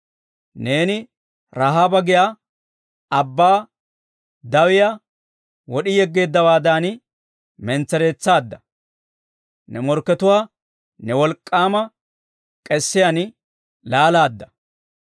Neeni Ra'aaba giyaa abbaa dawiyaa, wod'i yegeeddawaadan mentsereetsaadda; ne morkkatuwaa ne wolk'k'aama k'esiyaan laalaadda.